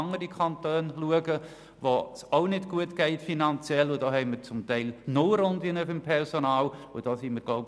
In anderen Kantonen, die ebenfalls finanziell nicht gut dastehen, gibt es beim Personal zum Teil sogar Nullrunden.